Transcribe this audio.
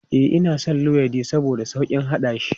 E, ina son luwaiɗin saboda sauƙin haɗashi.